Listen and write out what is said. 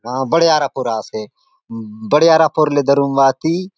आ बड़े आरापुर आसे बड़े आरापुर रे धरून भाति।